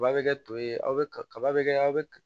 Kaba be kɛ to ye aw be kaba be kɛ aw be